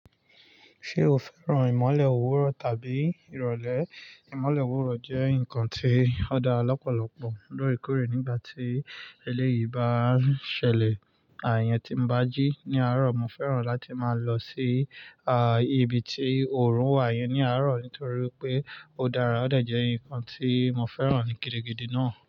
Ṣé o fẹ́ràn ìmọ́lẹ̀ òwúrọ̀ tàbí ìrọ̀lẹ́? Ìmọ́lẹ̀ òwúrọ̀ jẹ́ nǹkan tí ó dá lọ́pọ̀lọpọ̀ lore kore nígbà tí eléyìí bá ń ṣẹlẹ̀. Ààyàn tí mo bá jí ní àárọ̀, mo fẹ́ràn láti máa lọ sí, ibi tí òòrùn wà yẹn ní àárọ̀ nítorí pé ó dára, ó dà jẹ́ ǹkan tí mo fẹ́ràn ní gidigidi náà.